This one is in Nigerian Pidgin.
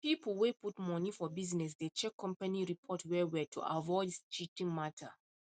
people way put money for business dey check company report well well to avoid cheating matter